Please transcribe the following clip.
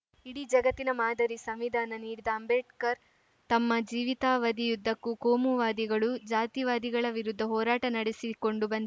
ಇಡೀ ಜಗತ್ತಿನ ಮಾದರಿ ಸಂವಿಧಾನ ನೀಡಿದ ಅಂಬೇಡ್ಕರ್‌ ತಮ್ಮ ಜೀವಿತಾವಧಿಯುದ್ದಕ್ಕೂ ಕೋಮುವಾದಿಗಳು ಜಾತಿವಾದಿಗಳ ವಿರುದ್ಧ ಹೋರಾಟ ನಡೆಸಿಕೊಂಡು ಬಂದಿ